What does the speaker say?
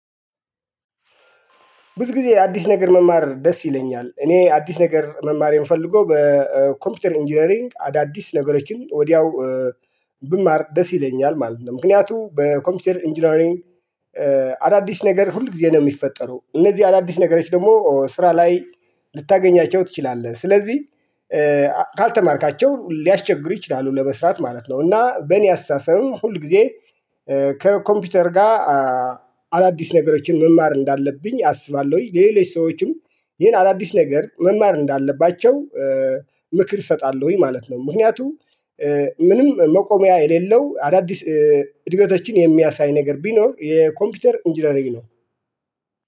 ብዙ ጊዜ አዲስ ነገር መማር ደስ ይለኛል እኔ አዲስ ነገር መማር የምፈልገው በኮምፒውተር ኢንጂነሪንግ አዳዲስ ነገሮችን ወዲያው ብማር ደስ ይለኛል ማለት ነው። ምክንያቱም በኮምፒውተር ኢንጂነሪንግ አዳዲስ ነገር ሁል ጊዜ ነው የሚፈጠረው እነዚህ አዳዲስ ነገሮች ደግሞ ስራ ላይ ልታገኛቸው ትችላለህ። ስለዚህ ካልተማርካቸው ሊያስቸግሩ ይችላሉ ለመስራት ማለት ነው። እና በእኔ አሳሰብም ሁል ጊዜ ከኮምፒውተር ጋር አዳዲስ ነገሮችን መማር እንዳለብኝ አስባለሁኝ። ለሌሎች ሰዎችም ይሄን አዳዲስ ነገር መማር እንዳለባቸው ምክር እሰጣለሁኝ ማለት ነው። ምክንያቱም ምንም መቆሚያ የሌለው አዳዲስ እድገቶችን የሚያሳይ ነገር ቢኖር የኮምፒውተር ኢንጂነሪግ ነው።